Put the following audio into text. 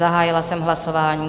Zahájila jsem hlasování.